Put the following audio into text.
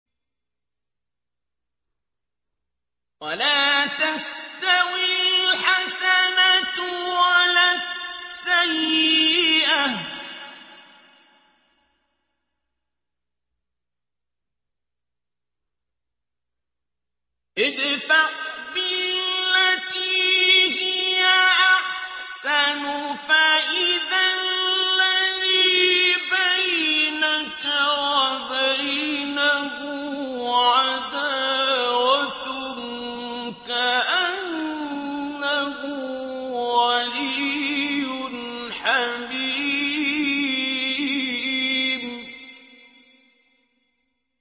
وَلَا تَسْتَوِي الْحَسَنَةُ وَلَا السَّيِّئَةُ ۚ ادْفَعْ بِالَّتِي هِيَ أَحْسَنُ فَإِذَا الَّذِي بَيْنَكَ وَبَيْنَهُ عَدَاوَةٌ كَأَنَّهُ وَلِيٌّ حَمِيمٌ